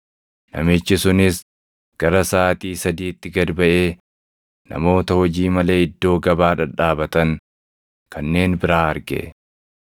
“Namichi sunis gara saʼaatii sadiitti gad baʼee namoota hojii malee iddoo gabaa dhadhaabatan kanneen biraa arge.